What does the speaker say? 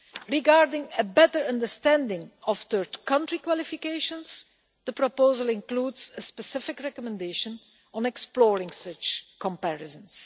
Regarding a better understanding of third country qualifications, the proposal includes a specific recommendation on exploring such comparisons.